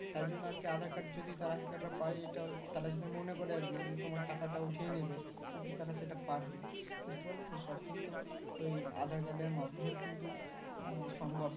তাই জন্য আরকি aadhar card যদি তারা hacker রা পাই এটা তারা যদি মনে করে আরকি যে তোমার টাকাটা উঠিয়ে নেবে কিন্তু তারা সেটা পারবে বুঝতে পারলে তো সব কিন্তু ওই aadhar card মাধ্যমেই কিন্তু মানে সম্ভব